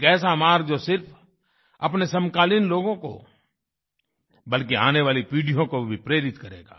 एक ऐसा मार्ग जो सिर्फ अपने समकालीन लोगों को बल्कि आने वाली पीढ़ियों को भी प्रेरित करेगा